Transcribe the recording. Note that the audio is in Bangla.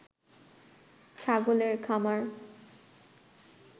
ছাগলের খামার